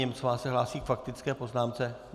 Němcová se hlásí s faktickou poznámkou?